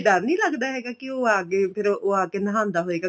ਡਰ ਨੀਂ ਲੱਗਦਾ ਹੈਗਾ ਕੀ ਉਹ ਆ ਗਏ ਫੇਰ ਉਹ ਆ ਕੇ ਨਹਾਂਦਾ ਹੋਏਗਾ